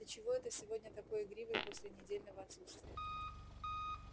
ты чего это сегодня такой игривый после недельного отсутствия